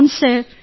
అవును సార్